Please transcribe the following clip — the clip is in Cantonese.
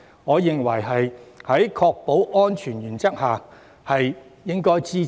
我認為在確保安全的原則下，這項建議值得支持。